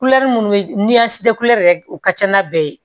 minnu bɛ ni a si tɛ yɛrɛ o ka ca n'a bɛɛ ye